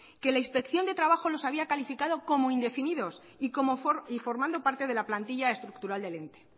que la inspección de trabajo les había calificado como indefinidos y formando parte de la plantilla estructural de ente